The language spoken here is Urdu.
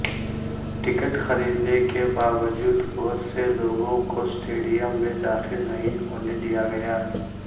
ٹکٹ خریدنے کے باوجود بہت سے لوگوں کو سٹیڈیم میں داخل نہیں ہونے دیا گیا